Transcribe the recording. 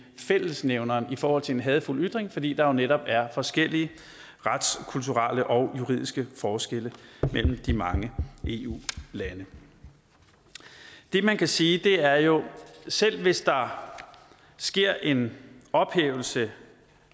fællesnævneren i forhold til en hadefuld ytring fordi der jo netop er forskellige retskulturelle og juridiske forskelle mellem de mange eu lande det man kan sige er jo at selv hvis der sker en ophævelse